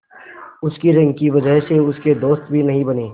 उसकी रंग की वजह से उसके दोस्त भी नहीं बने